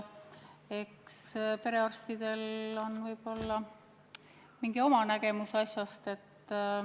Eks perearstidel on võib-olla mingi oma nägemus asjast.